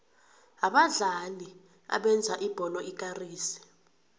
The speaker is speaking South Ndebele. abadlali abenza ibholo ikarise